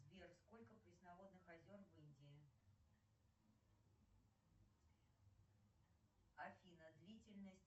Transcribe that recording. сбер сколько пресноводных озер в индии афина длительность